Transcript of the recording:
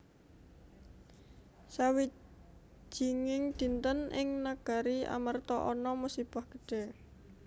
Sawijinging dinten ing Nagari Amarta ana musibah gedhe